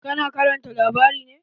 Ka na karanta labari ne?